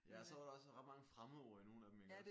Ja og så var der også ret mange fremmedord i nogle af dem iggås?